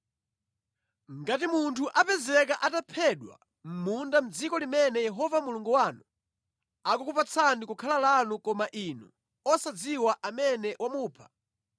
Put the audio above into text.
Ngati munthu apezeka ataphedwa mʼmunda mʼdziko limene Yehova Mulungu wanu akukupatsani kukhala lanu koma inu osadziwa amene wamupha,